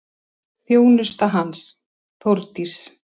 Þjónusta hans, Þórdís